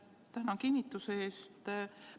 Tänan kinnituse eest!